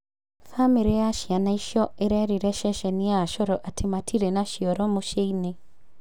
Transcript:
Bamĩrĩ ya ciana icio ĩrerire ceceni ya Coro atĩ matĩrĩ na cĩoro mũciĩini.